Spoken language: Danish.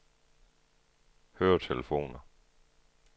høretelefoner